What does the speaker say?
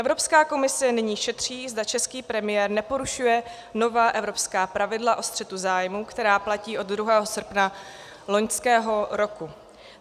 Evropská komise nyní šetří, zda český premiér neporušuje nová evropská pravidla o střetu zájmu, která platí od 2. srpna loňského roku.